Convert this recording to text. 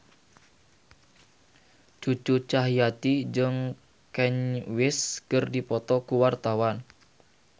Cucu Cahyati jeung Kanye West keur dipoto ku wartawan